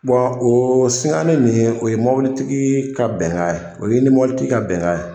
Bɔn o sikani nin o ye mɔbili tigi ka bɛngan ye o y'e ni mɔbilitigi ka bɛngan ye